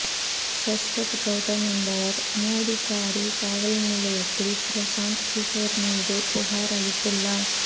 சாஸ்வத் கவுதம் என்பவர் மோதிகாரி காவல்நிலையத்தில் பிரசாந்த் கிஷோர் மீது புகார் அளித்துள்ளார்